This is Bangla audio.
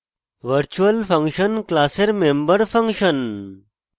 virtual function class member function